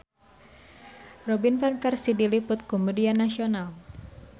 Robin Van Persie diliput ku media nasional